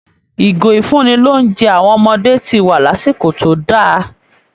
Ìgò ìfúnni-lóunjẹ àwọn ọmọdé ti wá lásìkò tó dá a